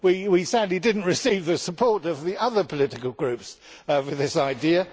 We sadly did not receive the support of the other political groups over this idea.